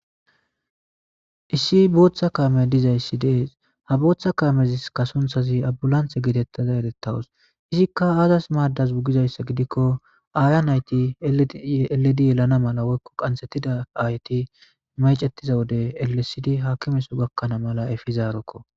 Issi booththa kaame dizayssi dees ha booththa kaamezi kasunthazi abulanthe geetettaza erettawus izikka aazas maaddas bugizayssa gidikko aayan ayti eledi yelana mala woykko qansetida ayti maycettiza wode ellesidi haakimeso gakkanaa mala efizaarekko.